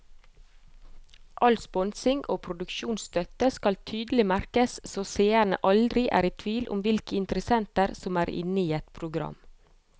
All sponsing og produksjonsstøtte skal tydelig merkes så seerne aldri er i tvil om hvilke interessenter som er inne i et program.